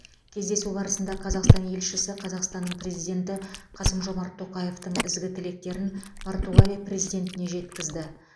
кездесу барысында қазақстан елшісі қазақстанның президенті қасым жомарт тоқаевтың ізгі тілектерін португалия президентіне жеткізді